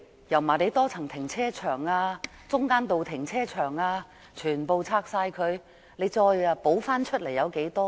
油麻地多層停車場、中間道停車場等全部拆掉後，補充的又有多少？